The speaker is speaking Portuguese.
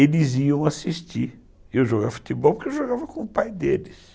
eles iam assistir eu jogar futebol, porque eu jogava com o pai deles.